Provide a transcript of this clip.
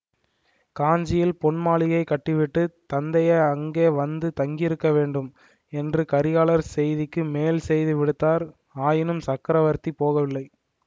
காஞ்சியில் பொன்மாளிகை கட்டிவிட்டுத் தந்தையை அங்கே வந்து தங்கியிருக்க வேண்டும் என்று கரிகாலர் செய்திக்கு மேல் செய்தி விடுத்தார் ஆயினும் சக்கரவர்த்தி போகவில்லை